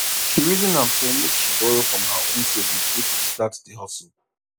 she reason am say make she borrow from her own savings take kickstart the hustle